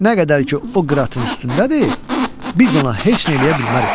Nə qədər ki o Qıratın üstündədir, biz ona heç nə eləyə bilmərik.